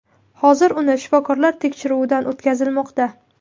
Hozir uni shifokorlar tekshiruvdan o‘tkazilmoqda.